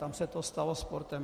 Tam se to stalo sportem.